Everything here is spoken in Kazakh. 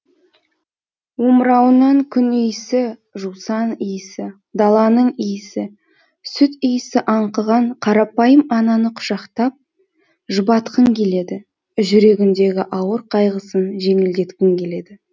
омырауынан күн иісі жусан иісі даланың иісі сүт иісі аңқыған қарапайым ананы құшақтап жұбатқың келеді жүрегіндегі ауыр қайғысын жеңілдеткің келеді